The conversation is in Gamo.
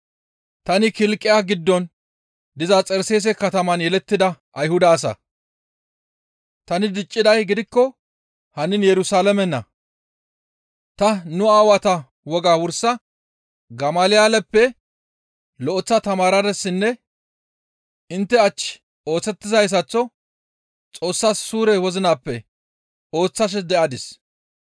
«Tani Kilqiya giddon diza Xarseese kataman yelettida Ayhuda asa; tani dicciday gidikko hannin Yerusalaamena; ta nu aawata wogaa wursa Gamalyaaleppe lo7eththa tamaaradissenne intte hach ooththizayssaththo Xoossas suure wozinappe ooththashe de7adis.